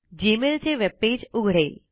Gmail चे webpage उघडेल